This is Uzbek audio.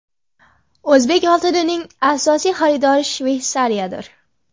O‘zbek oltinining asosiy xaridori Shveysariyadir.